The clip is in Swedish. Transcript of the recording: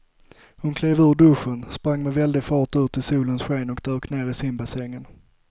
Hon klev ur duschen, sprang med väldig fart ut i solens sken och dök ner i simbassängen.